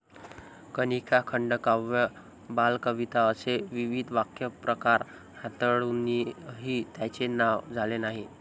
कनिका, खंडकाव्य बालकविता असे विविध काव्यप्रकार हाताळुनही त्यांचे नाव झाले नाही.